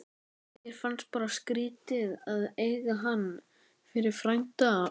Mér fannst bara skrítið að eiga hann fyrir frænda.